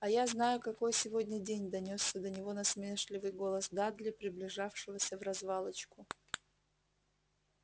а я знаю какой сегодня день донёсся до него насмешливый голос дадли приближавшегося вразвалочку